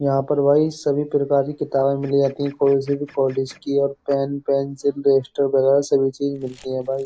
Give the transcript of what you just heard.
यहा पर भई सभी प्रकार की किताबें मिल जाती है। कोई से भी कॉलेज की पेन पेंसिल डस्टर वगेरा सभी चीज मिलती हैं भाई।